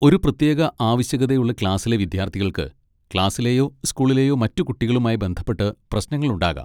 ഒരു പ്രത്യേക ആവശ്യകതയുള്ള ക്ലാസിലെ വിദ്യാർത്ഥികൾക്ക് ക്ലാസിലെയോ സ്കൂളിലെയോ മറ്റ് കുട്ടികളുമായി ബന്ധപ്പെട്ട് പ്രശ്നങ്ങൾ ഉണ്ടാകാം.